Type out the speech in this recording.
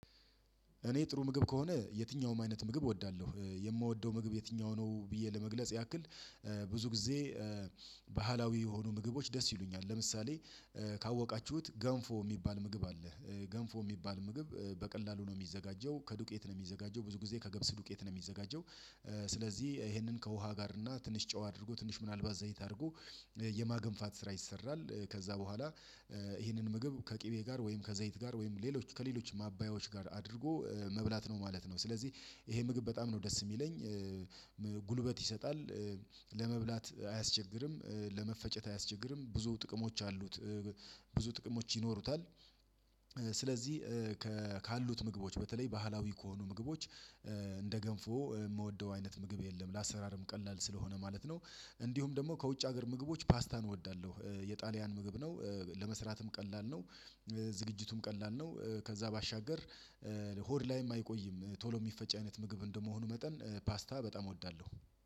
እኔ ጥሩ ምግብ ከሆነ የትኛውም አይነት ምግብ እወዳለሁ የምወደው ምግብ የትኛው ነው ብዬ ለመግለጽ ያክል ብዙ ጊዜ። ባህላዊ የሆኑ ምግቦች ደስ ይሉኛል ለምሳሌ ካወቃችሁት ገንፎ የሚባል ምግብ አለ። ገንፎ የሚባል ምግብ በቀላሉ ነው የሚዘጋጀው ከዱቄት ነው የሚዘጋጀው ብዙ ጊዜ ከገብስ ዱቄት ነው የሚዘጋጀው። ስለዚህ ይሄንን ከውሃ ጋር እና ትንሽ ጨው አድርጎ ትንሽ ምናልባት ዘይት አድርጎ የማገንፋት ስራ ይሰራል። ከዛ በኋላ ይሄንን ምግብ ከቅቤ ጋር ወይም ከዘይት ጋር ወይም ሌሎች ከሌሎች ማባያዎች ጋር አድርጎ ነው ማለት ነው። ስለዚህ ይሄ ምግብ በጣም ነው ደስ የሚለኝ። ጉልበት ይሰጣል። ለመብላት አያስቸግርም ለመፈጨት አያስቸግርም ብዙ ጥቅሞች አሉት። ብዙ ጥቅሞች ይኖሩታል። ስለዚህ ካሉት ምግቦች በተለይ ባህላዊ ከሆኑ ምግቦች እንደ ገንፎ የምወደው አይነት ምግብ የለም ለአሰራርም ቀላል ስለሆነ ማለት ነው። እንዲሁም ደግሞ ከውጭ ሀገር ምግቦች ፓስታን እወዳለሁ። የጣሊያን ምግብ ነው። ለመስራትም ቀላል ነው። ዝግጅቱም ቀላል ነው። ከዛ ባሻገር ሆድ ላይም አይቆይም ቶሎ የሚፈጭ አይነት ምግብ እንደመሆኑ መጠን ፓስታ በጣም እወዳለሁ።